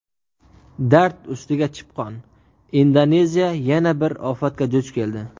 Dard ustiga chipqon: Indoneziya yana bir ofatga duch keldi.